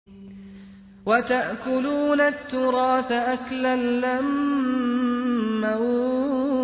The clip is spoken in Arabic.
وَتَأْكُلُونَ التُّرَاثَ أَكْلًا لَّمًّا